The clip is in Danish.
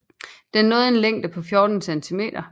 Den når en længde på 14 cm